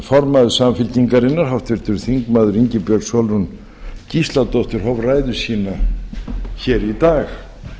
formaður samfylkingarinnar háttvirtur þingmaður ingibjörg sólrún gísladóttir hóf ræðu sína hér í dag